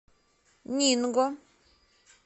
нинго